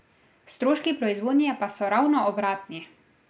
Stroški proizvodnje pa so ravno obratni.